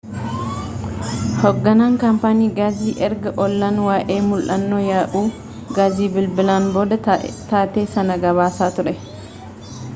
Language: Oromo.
hoogganaan kaampaanii gaasii erga ollaan waa'ee mul'annoo yaa'uu gaasii bilibilan booda taatee sana gabaasaa ture